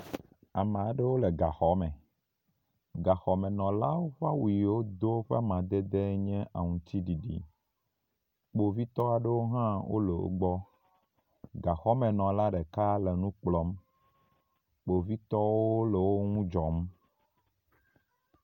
Ame aɖewo le gaxɔme. Gaxɔmenɔlawo ƒe awu yi wodo ƒe amadede nye aŋtsiɖiɖi. Kpovitɔ aɖewo hã le wo gbɔ. Gaxɔmenɔla ɖeka le nu kplɔm. Kpovitɔwo le wo ŋu dzɔm.